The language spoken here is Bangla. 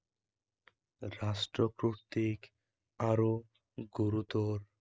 রাষ্ট্র কর্তিক আরো গুরুতর